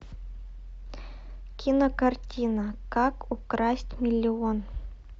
кинокартина как украсть миллион